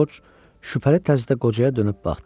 Corc şübhəli tərzdə qocaya dönüb baxdı.